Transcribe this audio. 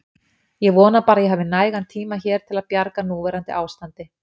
Ég vona bara að ég hafi nægan tíma hér til að bjarga núverandi ástandi.